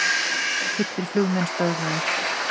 Fullir flugmenn stöðvaðir